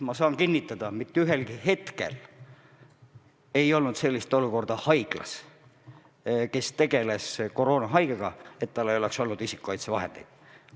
Ma saan kinnitada, et ühelgi hetkel ei olnud koroonahaigetega tegelevates haiglates sellist olukorda, et ei oleks olnud isikukaitsevahendeid.